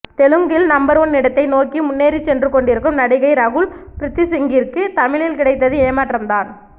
தெலுங்கில் number one இடத்தை நோக்கி முன்னேறி சென்று கொண்டிருக்கும் நடிகை ரகுல் ப்ரித்திசிங்கிற்கு தமிழில் கிடைத்தது ஏமாற்றம் தான்